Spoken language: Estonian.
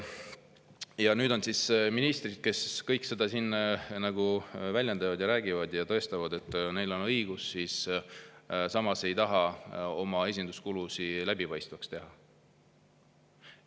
Ja nüüd need ministrid, kes kõik seda siin väljendavad ja räägivad ja tõestavad, et neil on õigus, samas ei taha oma esinduskulusid läbipaistvaks teha.